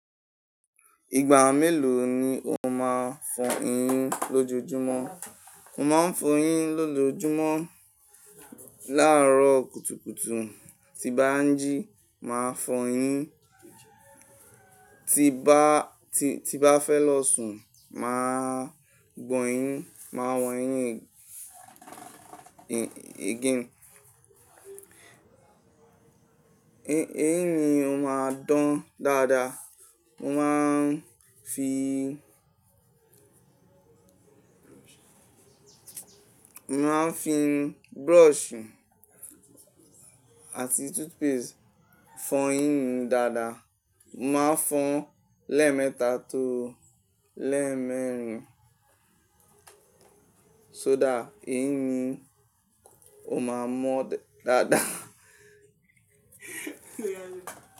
Ìgbà mélòó ni o máa fọ eyín lọ́jojúmọ́? Mo máa ń fọ eyín lọ́jọjúmọ́. Láàárọ̀ kùtùkùtù tí bá ń jí, màá fọ eyín. Ti bá, ti, ti bá fẹ́ lọ sùn, màá gbọ́ eyín, màá wọ́n eyín again. Eyín mi ò máa dán dáadáa. Mo máa ń fi, mo má ń fi brush àti toothpaste fọ eyín mi dáadáa. Mo máa ń fọ lẹ́ẹ̀mẹ́ta tó lẹ́ẹ̀mẹ́rin, ṣọ dá eyín mi ò máa mọ́ dáadáa.